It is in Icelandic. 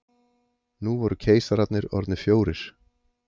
Nú voru keisarar orðnir fjórir.